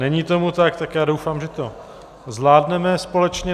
Není tomu tak, tak já doufám, že to zvládneme společně.